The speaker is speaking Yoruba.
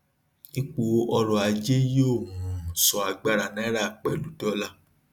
ipò ọrọ ajé yóò um sọ agbára náírà pẹlú dọlà